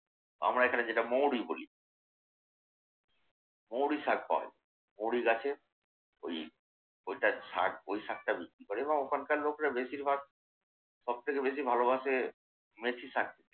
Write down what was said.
আমরা এখানে যেটা মৌরি বলি। মৌরির শাক পাওয়া যায়। মৌরি গাছের ওই ওইটার শাক ওই শাকটা বিক্রি করে এবং ওখানকার লোকেরা বেশিরভাগ সবথকে বেশি ভালোবাসে মেথি শাক।